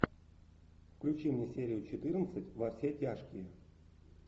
включи мне серию четырнадцать во все тяжкие